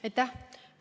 Aitäh!